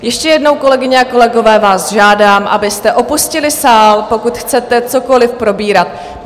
Ještě jednou, kolegyně a kolegové, vás žádám, abyste opustili sál, pokud chcete cokoli probírat.